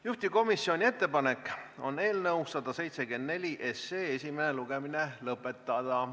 Juhtivkomisjoni ettepanek on eelnõu 174 esimene lugemine lõpetada.